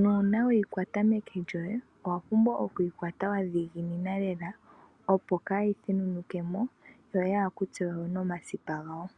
nuuna weyi kwata meke lyoye owa pumbwa okuyi kwata wa dhiginina lela opo kaayi thenunukemo yo yaa kutse wo nomakipa gayo.